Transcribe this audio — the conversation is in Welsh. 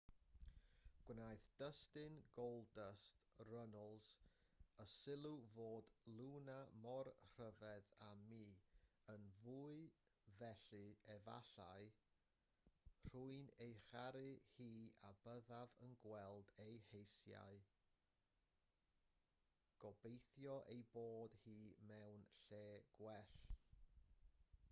gwnaeth dustin goldust runnels y sylw fod luna mor rhyfedd â miyn fwy felly efallairwy'n ei charu hi a byddaf yn gweld ei heisiaugobeithio ei bod hi mewn lle gwell